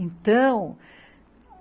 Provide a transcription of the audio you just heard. Então,